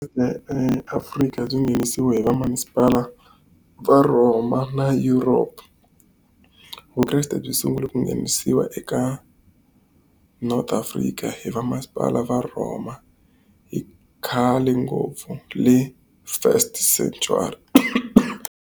Afrika byi nghenisiwa hi va masipala vaRoma na Europe. Vukreste byi sungule ku nghenisiwa eka North Africa hi vamasipala vaRoma hi khale ngopfu le first century.